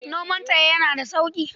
Noman tsaye yana da sauƙi.